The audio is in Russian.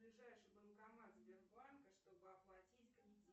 ближайший банкомат сбербанка чтобы оплатить кредит